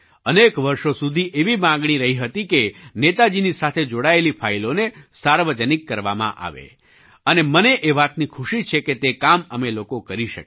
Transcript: અનેક વર્ષો સુધી એવી માગણી રહી હતી કે નેતાજીની સાથે જોડાયેલી ફાઇલોને સાર્વજનિક કરવામાં આવે અને મને એ વાતની ખુશી છે કે તે કામ અમે લોકો કરી શક્યા